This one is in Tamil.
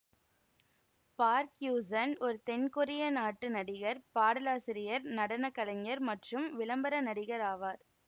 பார்க் யூசுன் ஒரு தென் கொரியா நாட்டு நடிகர் பாடலாசிரியர் நடன கலைஞர் மற்றும் விளம்பர நடிகர் ஆவார்